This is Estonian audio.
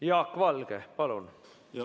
Jaak Valge, palun!